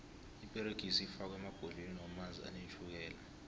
iperegisi ifakwo emabhodleleni womanzi anetjhukela